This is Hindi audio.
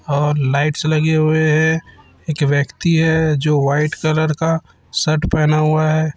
और लाईट्स लगे हुए हैं एक व्यक्ति हैं जो व्हाईट कलर का शर्ट पहना हुवा हैं।